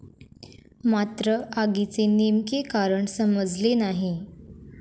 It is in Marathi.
मात्र, आगीचे नेमके कारण समजले नाही.